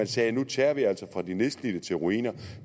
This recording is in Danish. sagde nu tager vi altså fra de nedslidte til ruiner